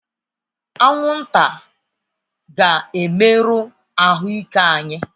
Anwụnta ga-emerụ ahụ ike anyị